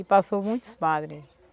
E passou muitos padre.